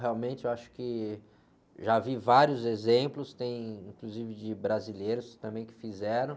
Realmente, eu acho que já vi vários exemplos, tem, inclusive, de brasileiros também que fizeram.